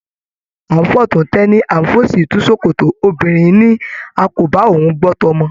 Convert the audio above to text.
A n f'ọ̀tún t'ẹní, a n f'òsì tu sòkòtò, obìnrin ní a kò bá òun gbọ t'ọmọ.